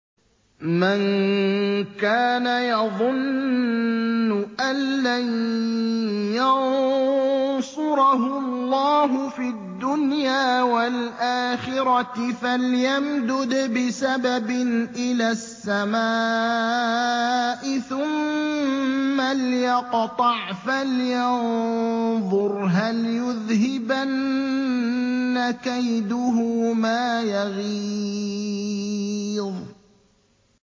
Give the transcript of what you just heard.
مَن كَانَ يَظُنُّ أَن لَّن يَنصُرَهُ اللَّهُ فِي الدُّنْيَا وَالْآخِرَةِ فَلْيَمْدُدْ بِسَبَبٍ إِلَى السَّمَاءِ ثُمَّ لْيَقْطَعْ فَلْيَنظُرْ هَلْ يُذْهِبَنَّ كَيْدُهُ مَا يَغِيظُ